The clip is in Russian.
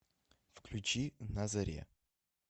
включи на заре